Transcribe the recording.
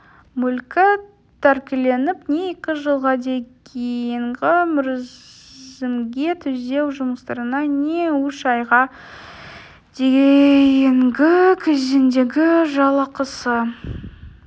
мүлкі тәркіленіп не екі жылға дейінгі мерзімге түзеу жұмыстарына не үш айға дейінгі кезеңдегі жалақысы